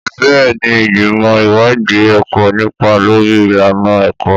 Bẹ́ẹ̀ni, ìgbìmọ̀ ìwádìí ẹ̀kọ́ nípa lórí ìlànà ẹ̀kọ́.